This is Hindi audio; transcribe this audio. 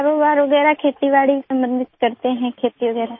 कारोबार वगैरह खेतीबाड़ी सम्बंधित करते हैं खेती वगैरह